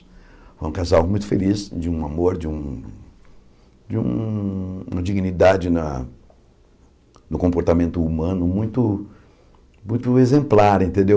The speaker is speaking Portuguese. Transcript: Foi um casal muito feliz, de um amor, de um de um uma dignidade na no comportamento humano, muito muito exemplar, entendeu?